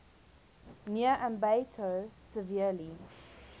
near ambato severely